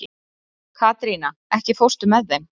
Katrína, ekki fórstu með þeim?